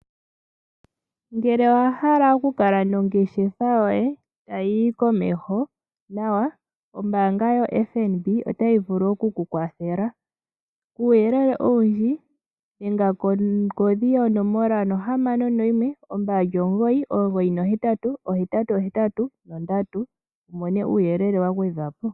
Ngele owahala oku kala nongeshefa yoye ta yiyi komeho nawa, ombaanga yo FNB otayi vulu oku ku kwathela. Uuyelele owundji dhenga kongodhi yonomola yo 0612998883 wu mone uuyelele wa gwedhwa po.